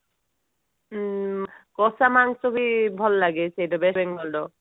ହଁ କଷାମାଂସ ବି ଭଲ ଲାଗେ ସେଟା west Bengal ର